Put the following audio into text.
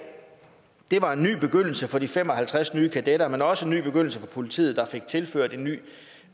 det var en ny begyndelse for de fem og halvtreds nye kadetter men også en ny begyndelse for politiet der fik tilført en ny